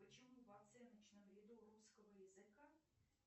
почему в оценочном ряду русского языка